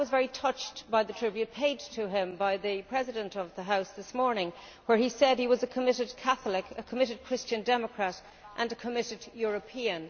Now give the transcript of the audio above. I was very touched by the tribute paid to him by the President of the House this morning, where he said he was a committed Catholic, a committed Christian Democrat and a committed European.